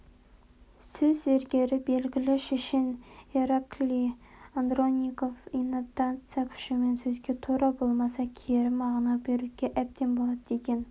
сөз зергері белгілі шешен ираклий андронников интонация күшімен сөзге тура болмаса кері мағына беруге әбден болады деген